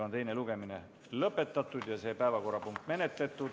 Teine lugemine on lõpetatud ja see päevakorrapunkt menetletud.